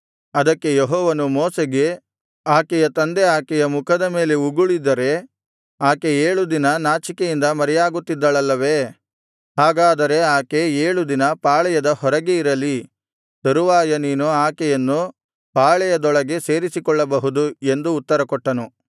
ಅದಕ್ಕೆ ಯೆಹೋವನು ಮೋಶೆಗೆ ಆಕೆಯ ತಂದೆ ಆಕೆಯ ಮುಖದ ಮೇಲೆ ಉಗುಳಿದರೆ ಆಕೆ ಏಳು ದಿನ ನಾಚಿಕೆಯಿಂದ ಮರೆಯಾಗುತ್ತಿದ್ದಳಲ್ಲವೇ ಹಾಗಾದರೆ ಆಕೆ ಏಳು ದಿನ ಪಾಳೆಯದ ಹೊರಗೆ ಇರಲಿ ತರುವಾಯ ನೀನು ಆಕೆಯನ್ನು ಪಾಳೆಯದೊಳಗೆ ಸೇರಿಸಿಕೊಳ್ಳಬಹುದು ಎಂದು ಉತ್ತರಕೊಟ್ಟನು